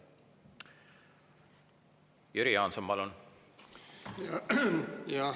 Jüri Jaanson, palun!